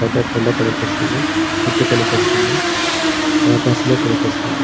పెద్ద కొండ కనిపిస్తుంది. చుట్టు కనిపిస్తుంది. ఆకాశము కనిపిస్తుంది.